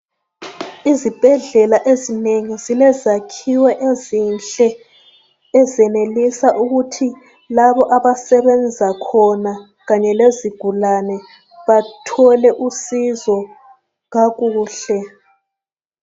Izibhedlela ezinengi zilezakhiwo ezinhle ezenelisa ukuthi labo abasebenza khona Kanye lezigulane bathole usizo kakuhle